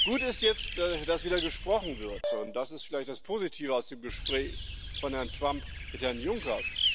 Gut ist jetzt, dass wieder gesprochen wird, und das ist vielleicht das Positive aus dem Gespräch von Herrn Trump mit Herrn Juncker.